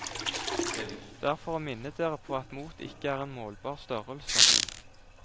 Det er for å minne dere på at mot ikke er en målbar størrelse.